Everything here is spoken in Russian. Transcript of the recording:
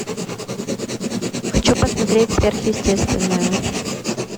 хочу посмотреть сверхъестественное